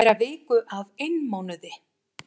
Á að bera viku af einmánuði.